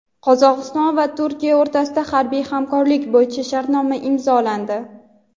Qozog‘iston va Turkiya o‘rtasida harbiy hamkorlik bo‘yicha shartnoma imzolandi.